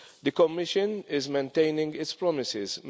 The Commission is maintaining its promises.